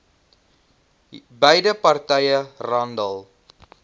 beide partye randall